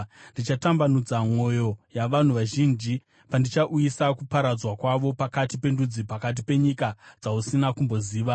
Ndichatambudza mwoyo yavanhu vazhinji, pandichauyisa kuparadzwa kwako pakati pendudzi, pakati penyika dzausina kumboziva.